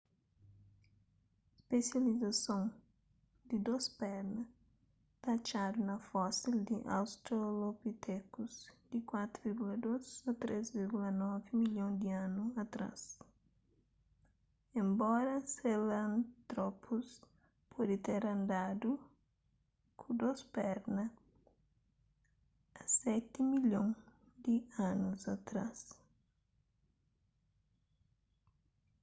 spesializason di dôs perna ta atxadu na fosil di australopithecus di 4,2-3,9 milhon di anu atrás enbora sahelanthropus pode ter andadu ku dôs perna a seti milhon di anus atrás